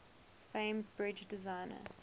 famed bridge designer